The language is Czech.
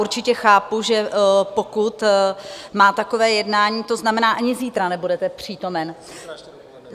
Určitě chápu, že pokud má takové jednání - to znamená, ani zítra nebudete přítomen?